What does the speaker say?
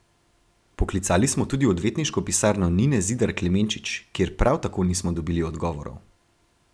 Poklicali smo tudi v odvetniško pisarno Nine Zidar Klemenčič, kjer prav tako nismo dobili odgovorov.